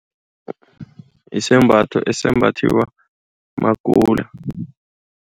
Isembatho esimbathiwa makula.